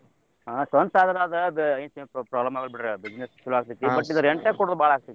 ಹಾ ಸ್ವಂತ್ ಆದ್ರ ಅದ್~ ಅದ ಏನ್ problem ಆಗಲ್ ಬಿಡ್ರಿ business ಚೊಲೋ ಆಗ್ತೇತಿ .